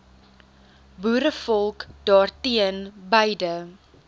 boerevolk daarteen beide